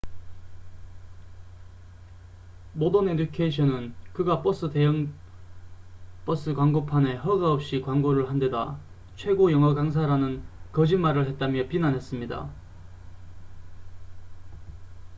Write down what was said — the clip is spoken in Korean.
모던 에듀케이션은 그가 버스 대형 버스 광고판에 허가 없이 광고를 한데다 최고 영어 강사라는 거짓말을 했다며 비난했습니다